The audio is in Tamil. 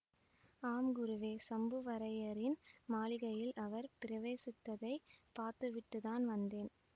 ஆம் குருவே சம்புவரையரின் மாளிகையில் அவர் பிரவேசித்ததைப் பார்த்துவிட்டு தான் வந்தேன்